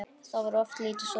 Þá var oft lítið sofið.